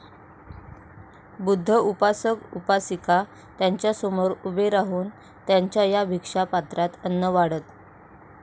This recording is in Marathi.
बुद्ध उपासक उपासिका त्यांच्यासमोर उभे राहून त्यांच्या या भीक्षा पात्रात अन्न वाढत